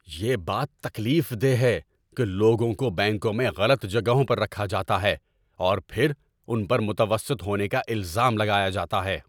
یہ بات تکلیف دہ ہے کہ لوگوں کو بینکوں میں غلط جگہوں پر رکھا جاتا ہے، اور پھر ان پر متوسط ہونے کا الزام لگایا جاتا ہے۔